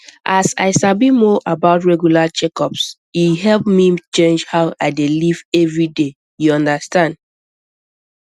as i sabi more about regular checkups e help me change how i dey live every day you understand